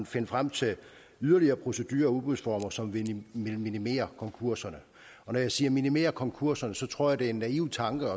finde frem til yderligere procedurer og udbudsformer som vil minimere konkurserne og når jeg siger minimere konkurserne tror jeg det er en naiv tanke